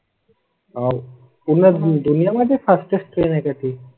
आह पुण्या तून यामध्ये फास्ट असते नाही का ती?